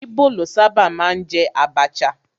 Íbò ló sábà máa ń jẹ àbàchà